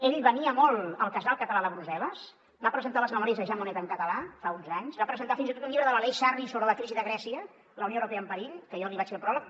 ell venia molt al casal català de brussel·les va presentar les memòries de jean monnet en català fa uns anys va presentar fins i tot un llibre de l’aleix sarri sobre la crisi de grècia la unió europea en perill que jo li vaig fer al pròleg